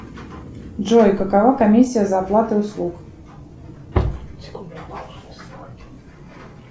джой какова комиссия за оплату услуг